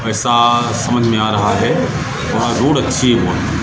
ऐसा समझ में आ रहा है वहां रोड अच्छी है बहुत।